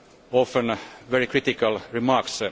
often very critical remarks.